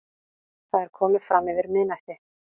Það er komið framyfir miðnætti.